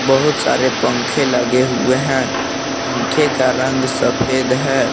बहुत सारे पंखे लगे हुए हैं पंखे का रंग सफेद है।